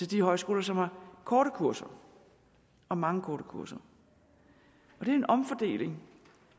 de højskoler som har korte kurser og mange korte kurser det er en omfordeling